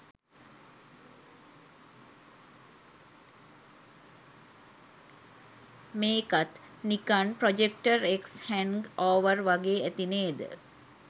මේකත් නිකන් project X hangover වගේ ඇති නේද.